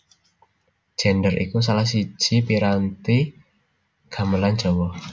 Gendèr iku salah siji piranti gamelan Jawa